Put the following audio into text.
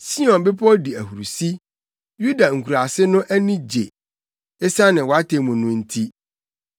Sion bepɔw di ahurusi, Yuda nkuraase no ani gye esiane wʼatemmu no nti.